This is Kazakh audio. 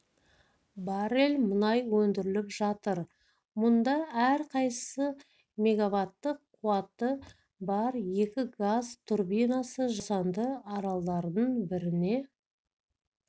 баррель мұнай өндіріліп жатыр мұнда әрқайсысы мегаваттық қуаты бар екі газ турбинасы жасанды аралдардың біріне